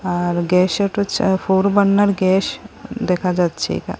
আর gas ওটো চা four burner gas দেখা যাচ্ছে এখা--